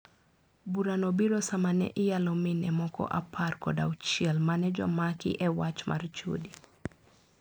Bura no biro sama ne iyalo mine moko apar kod auchiel ma ne jomaki e wach mar chode.